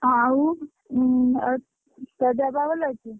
ହଁ ଆଉ ଉଁ ଆଉ ତୋ ଦେହ ପାହ ଭଲ ଅଛି?